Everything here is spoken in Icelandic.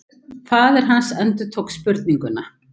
Faðir hans endurtók spurninguna.